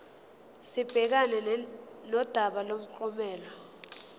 sibhekane nodaba lomklomelo